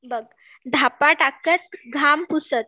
बघ, धापा टाकत घाम पुसत